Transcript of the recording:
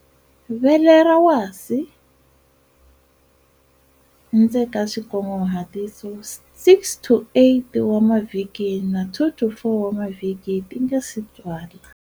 Vele ra wasi, 6-8 wa mavhiki na 2-4 wa mavhiki ti nga si tswala